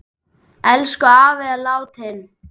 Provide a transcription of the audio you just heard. Elsku afi er látinn.